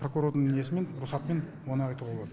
прокурордың несімен рұқсатымен оны айтуға болады